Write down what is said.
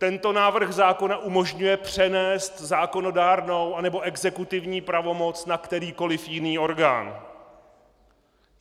Tento návrh zákona umožňuje přenést zákonodárnou anebo exekutivní pravomoc na kterýkoliv jiný orgán.